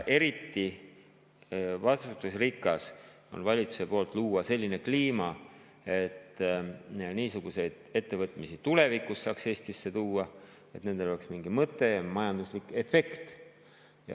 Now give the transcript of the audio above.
Eriti vastutusrikas on see selles mõttes, et valitsus peaks looma sellise kliima, et niisuguseid ettevõtmisi saaks tulevikus Eestisse tuua, et nendel oleks mingi mõte ja majanduslik efekt.